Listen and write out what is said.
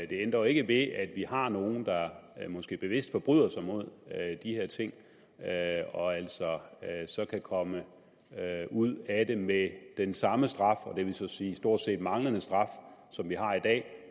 det ændrer jo ikke ved at vi har nogle der måske bevidst forbryder sig mod de her ting og altså så kan komme ud af det med den samme straf og det vil så sige stort set manglende straf som vi har i dag